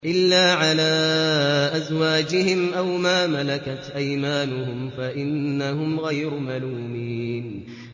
إِلَّا عَلَىٰ أَزْوَاجِهِمْ أَوْ مَا مَلَكَتْ أَيْمَانُهُمْ فَإِنَّهُمْ غَيْرُ مَلُومِينَ